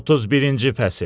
31-ci fəsil.